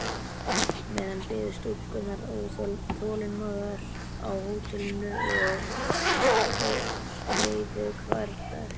meðan biðu stúlkurnar þolinmóðar á hótelinu og þreyðu hvern dag.